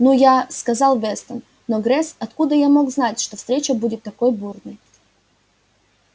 ну я сказал вестон но грейс откуда я мог знать что встреча будет такой бурной